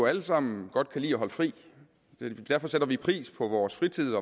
alle sammen godt kan lide at holde fri derfor sætter vi pris på vores fritid